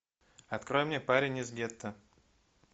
открой мне парень из гетто